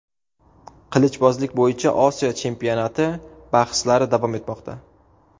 Qilichbozlik bo‘yicha Osiyo chempionati bahslari davom etmoqda.